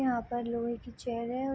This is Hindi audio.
यहाँ पर लोहे के चैन है अ --